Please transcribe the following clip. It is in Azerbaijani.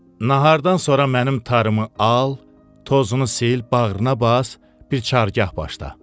Nahardan sonra mənim tarımı al, tozunu sil, bağrına bas, bir çargah başla.